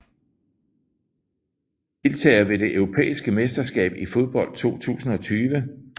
Deltagere ved det europæiske mesterskab i fodbold 2020